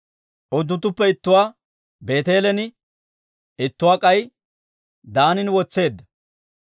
Unttunttuppe ittuwaa Beeteelen, ittuwaa k'ay Daanan wotseedda.